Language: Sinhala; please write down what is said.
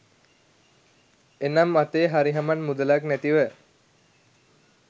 එනම් අතේ හරිහමන් මුදලක් නැතිව